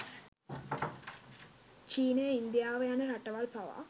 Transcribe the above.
චීනය ඉන්දියාව යන රටවල් පවා